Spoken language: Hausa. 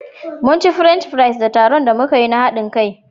Munci French fries da tarun da muka yi na haɗin kai.